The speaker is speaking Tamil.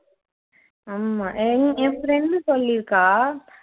ஆமா எ என் friend சொல்லிருக்கா